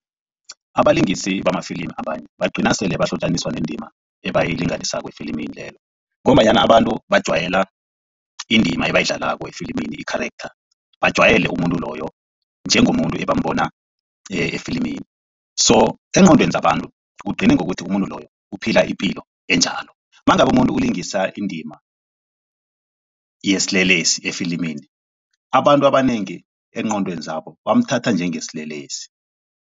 Abalingisi bamafilimi abanye bagcina sele bahlotjaniswa nendima ebayilinganisako efilimini lelo ngombanyana abantu bajwayela indima ebayidlalako efilimini i-charactor bajwayele umuntu loyo njengomuntu ebambona efilimini, so eengqondweni zabantu kugcine ngokuthi umuntu loyo uphila ipilo enjalo mangabe umuntu ulingisa indima yesilelesi efilimini abantu abanengi eengqondweni zabo bamthatha njengesilelesi.